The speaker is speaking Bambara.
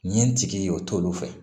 Nin ye n tigi ye o t'olu fɛ